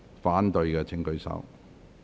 反對的請舉手。